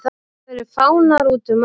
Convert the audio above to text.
Það eru fánar útum allt.